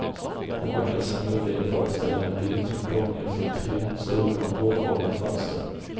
Den vackra scenografin föreställer en vind och domineras av tre stora, bågformade fönster.